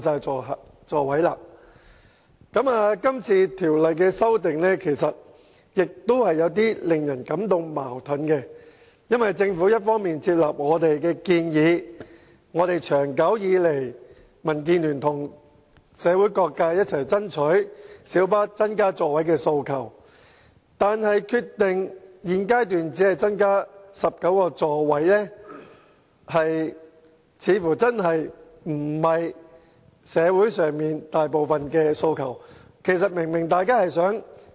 這項《2017年道路交通條例草案》有些地方令人感到十分矛盾，因為政府雖已接納我們的建議，即民建聯及社會各界長久以來一直爭取要增加小巴座位的訴求，但現時卻決定只增加至19個座位，這似乎並不是大部分社會人士的訴求。